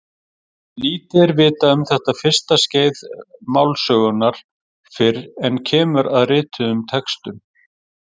Lítið er vitað um þetta fyrsta skeið málsögunnar fyrr en kemur að rituðum textum.